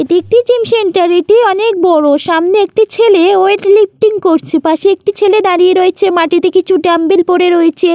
এটি একটি gym centre | এটি অনেক বড়সামনে একটি ছেলে ওয়েট লিফটিং করছে |পাশে একটি ছেলে দাঁড়িয়ে রয়েছেমাটিতে কিছু ডাম্বেল পড়ে রয়েছে।